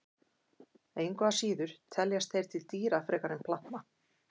Engu að síður teljast þeir til dýra frekar en plantna.